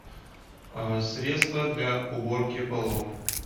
средство для уборки полов